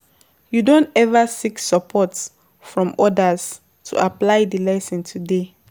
You don ever seek support from odas to apply di lesson today?